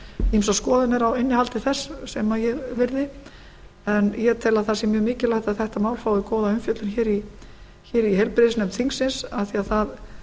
menn ýmsar skoðanir á innihaldi þess sem ég virði en ég tel að það sé mjög mikilvægt að þetta mál fái góða umfjöllun hér í heilbrigðisnefnd þingsins af því að það